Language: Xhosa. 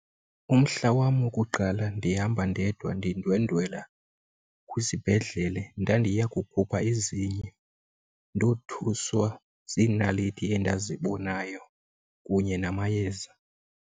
Umhla wam wokuqala ndihamba ndedwa ndindwendwela kwisibhedlele ndandiya kukhupha izinyo. Ndothuswa ziinaliti endazibonayo kunye namayeza.